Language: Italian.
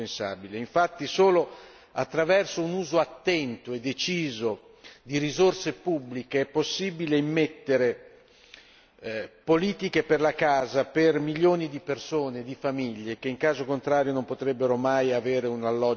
Infatti, solo attraverso un uso attento e deciso di risorse pubbliche è possibile immettere politiche per la casa per milioni di persone di famiglie, che in caso contrario non potrebbero mai avere un alloggio dignitoso.